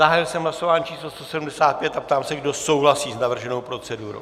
Zahájil jsem hlasování číslo 175 a ptám se, kdo souhlasí s navrženou procedurou.